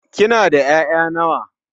Kina da 'ya'ya nawa?